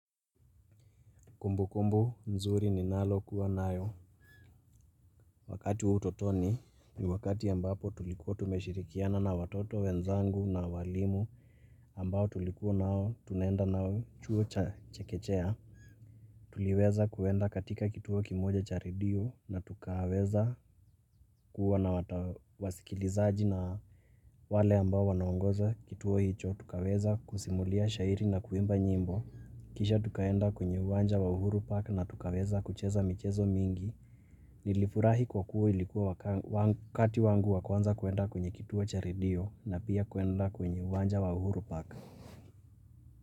Kumbukumbu nzuri ninalo kuwa nayo. Wakati wa utotoni ni wakati ambapo tulikuwa tumeshirikiana na watoto wenzangu na walimu ambao tulikuwa nao tunaenda nao chuo cha chekechea. Tuliweza kuenda katika kituo kimoja cha redio na tukaweza kuwa na wasikilizaji na wale ambao wanaongoza kituo hicho tukaweza kusimulia shairi na kuimba nyimbo. Kisha tukaenda kwenye uwanja wa uhuru park na tukaweza kucheza michezo mingi Nilifurahi kwa kuwa ilikuwa wakati wangu wa kwanza kuenda kwenye kituo cha redio na pia kuenda kwenye uwanja wa uhuru park.